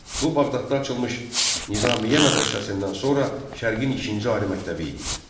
Bu Bağdadda açılmış Nizamiye mədrəsəsindən sonra Şərqin ikinci ali məktəbi idi.